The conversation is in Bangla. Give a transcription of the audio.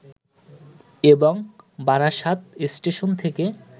এবং বারাসাত স্টেশন থেকে